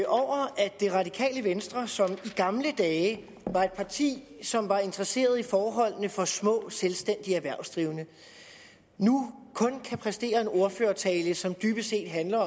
det radikale venstre som i gamle dage var et parti som var interesseret i forholdene for små selvstændige erhvervsdrivende nu kun kan præstere en ordførertale som dybest set handler